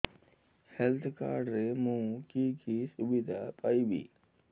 health card ରେ ମୁଁ କି କି ସୁବିଧା ପାଇବି